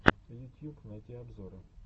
ютьюб найти обзоры